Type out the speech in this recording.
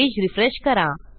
page refresh करा